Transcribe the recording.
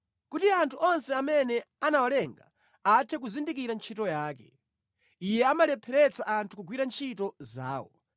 Kuti anthu onse amene anawalenga athe kuzindikira ntchito yake. Iye amalepheretsa anthu kugwira ntchito zawo.